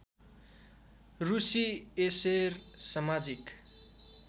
रुसी एसेर समाजिक